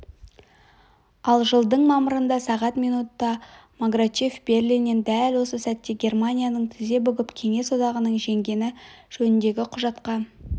ал жылдың мамырында сағат минутта маграчев берлиннен дәл осы сәтте германияның тізе бүгіп кеңес одағының жеңгені жөніндегі құжатқа